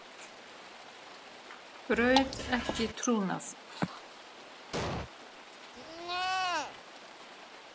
Braut ekki trúnað